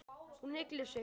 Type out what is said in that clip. Hún ygglir sig.